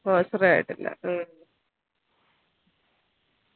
ഒച്ചറ ആയിട്ടില്ല ഹും